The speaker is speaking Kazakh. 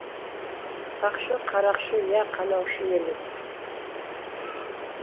сақшы қарақшы иә қанаушы емес